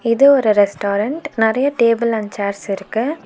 இது ஒரு ரெஸ்டாரன்ட் நறைய டேபிள் அண்ட் சேர்ஸ் இருக்கு.